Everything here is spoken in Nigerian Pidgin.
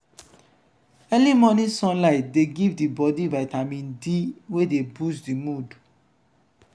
early morning sunlight de give di bodi vitamin d wey de boost di mood